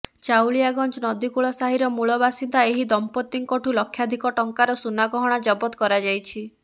ଚାଉଳିଆଗଞ୍ଜ ନଦୀକୁଳ ସାହିର ମୂଳବାସିନ୍ଦା ଏହି ଦମ୍ପତିଙ୍କଠୁ ଲକ୍ଷାଧିକ ଟଙ୍କାର ସୁନାଗହଣା ଜବତ କରାଯାଇଛି